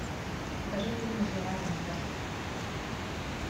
покажи фильмы с жераром депардье